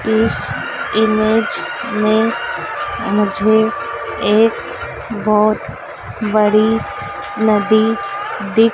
इस इमेज मे मुझे एक बहोत बड़ी नदी दि--